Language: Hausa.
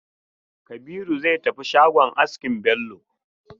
Kabiru zai tafi shagon askin Bello.